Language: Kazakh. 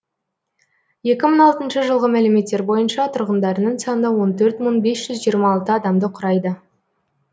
екі мың алтыншы жылғы мәліметтер бойынша тұрғындарының саны он төрт мың бес жүз жиырма алты адамды құрайды